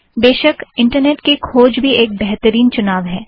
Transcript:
बेशक इंटरनेट की खोज भी एक बेहतरीन चुनाव है